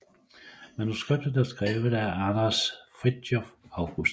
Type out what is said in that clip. Manuskriptet er skrevet af Anders Frithiof August